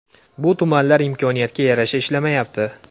Bu tumanlar imkoniyatga yarasha ishlamayapti.